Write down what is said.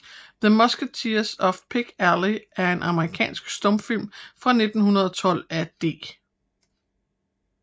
The Musketeers of Pig Alley er en amerikansk stumfilm fra 1912 af D